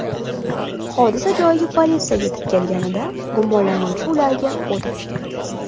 Hodisa joyiga politsiya yetib kelganida gumonlanuvchi ularga o‘t ochgan.